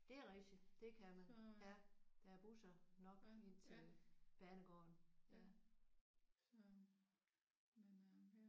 Det er rigtigt! Det kan man. Ja der er busser nok ind til banegården